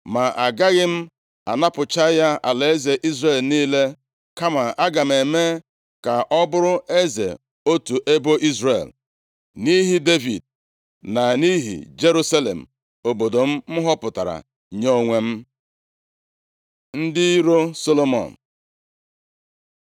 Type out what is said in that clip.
Ma agaghị m anapụcha ya alaeze Izrel niile, kama aga m eme ka ọ bụrụ eze otu ebo Izrel, nʼihi Devid, na nʼihi Jerusalem, obodo m họpụtara nye onwe m.” Ndị iro Solomọn